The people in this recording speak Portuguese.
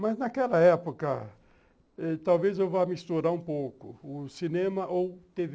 Mas naquela época, talvez eu vá misturar um pouco, o cinema ou tê vê.